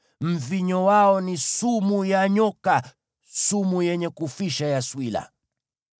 Mvinyo wao ni sumu ya nyoka, sumu yenye kufisha ya swila.